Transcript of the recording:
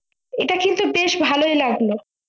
এটা কিন্তু বেশ ভালোই লাগলো